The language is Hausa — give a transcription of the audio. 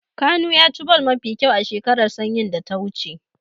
Kanu ya ci ball mafi kyau a shekara sanyin da ya wuce.